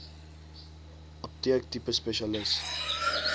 apteek tipe spesialis